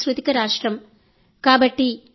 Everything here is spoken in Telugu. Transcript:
తమిళనాడు మన దేశంలో చాలా గొప్ప సాంస్కృతిక రాష్ట్రం